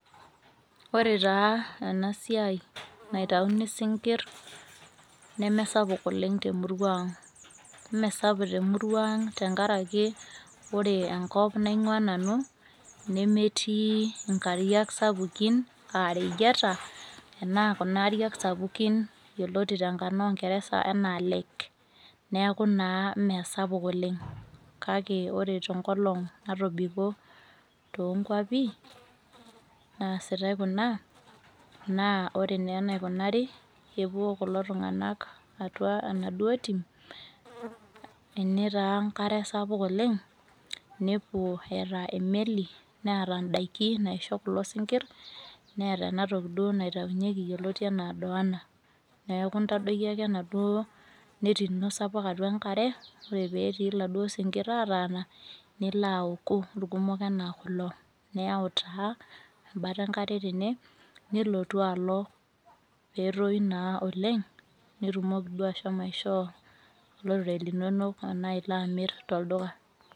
Ore taa enasiai naitauni sinkirr nemesapuk oleng temurua ang. Mesapuk temurua ang tenkaraki, ore enkop naing'ua nanu, nemetii inkariak sapukin ah reyieta, enaa kuna ariak sapukin yioloti tenkarna ongeresa enaa lake. Neeku naa meesapuk oleng. Kake ore tenkolong natobiko tonkwapi, naasitai kuna, naa ore naa enaikunari, kepuo kulo tung'anak atua enaduo tim, ene taa enkare sapuk oleng, nepuo eeta emeli neeta daiki naisho kulo sinkirr, neeta enatoki duo naitaunyeki yioloti enaa doana. Neeku intadoki ake enaduo neti ino sapuk atua enkare, ore petii laduo sinkirr ataana, nilo aoku irkumok enaa kulo. Niyau taa, embata enkare tene, nilotu alo petoyu naa oleng, nitumoki duo ashomo aishoo olorere linonok, anaa ilo amir tolduka.